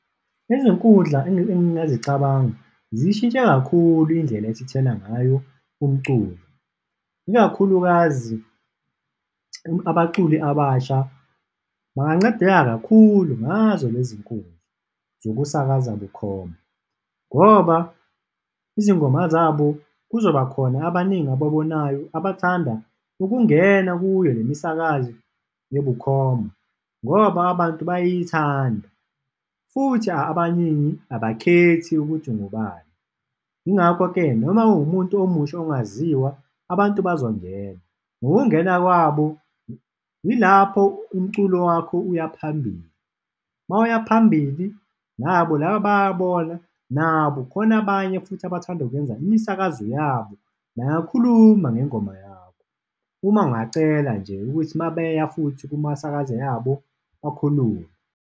Izinkundla engingazicabanga ziyishintshe kakhulu indlela esithola ngayo umculo, ikakhulukazi abaculi abasha, bangancedeka kakhulu ngazo le zinkundla zokusakaza bukhoma ngoba izingoma zabo kuzobakhona abaningi ababonayo abathanda ukungena kuyo lemisakazi ebukhoma ngoba abantu bayithanda futhi abaningi abakhethi ukuthi ngubani. Yingakho-ke, noma uwumuntu omusha ongaziwa abantu bazongena, ngokungena kwabo yilapho umculo wakho uya phambili, mawuya phambili, nabo laba bayabona nabo khona abanye futhi abathanda ukwenza imisakazo yabo, bayakhuluma ngengoma yabo, uma ungacela nje ukuthi mabeya futhi kumasakaze yabo, bakhulume.